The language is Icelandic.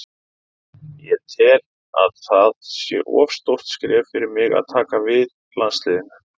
Ég tel að það sé of stórt skref fyrir mig að taka við landsliðinu.